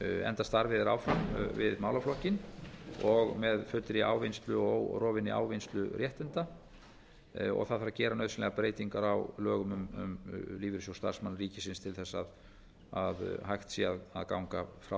enda starfi þeir áfram við málaflokkinn og með fullri ávinnslu og órofinni ávinnsluréttinda það þarf að gera nauðsynlegar breytingar á lögum um lífeyrissjóð starfsmanna ríkisins til þess að hægt sé að ganga frá